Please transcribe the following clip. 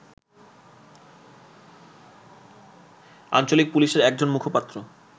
আঞ্চলিক পুলিশের একজন মুখপাত্র